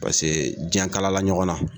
Paseke jiɲɛ kalala ɲɔgɔn na.